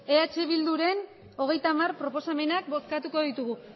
eh bilduren hogeita hamar proposamenak bozkatuko ditugu